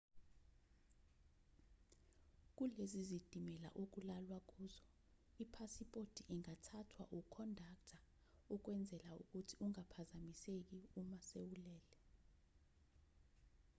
kulezi zitimela okulalwa kuzo iphasiphothi ingathathwa ukhondakta ukwenzela ukuthi ungaphazamiseki uma sewulele